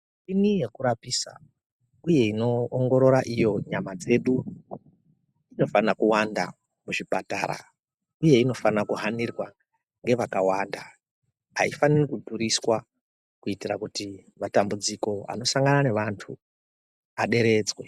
Michini yekurapisa, uye ino ongorora iyo nyama dzedu, inofanira kuwanda kuzvipatara uye inofanirwa kuhhanirwa ngevakawanda. Haifaniri kudhuriswa kuitira kuti matambudziko anosangana nevantu aderetsve.